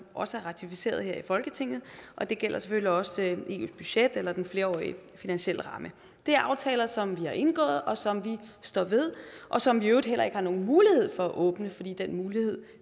også er ratificeret her i folketinget og det gælder selvfølgelig også eus budget eller den flerårige finansielle ramme det er aftaler som vi har indgået og som vi står ved og som vi i øvrigt heller ikke har nogen mulighed for at åbne fordi den mulighed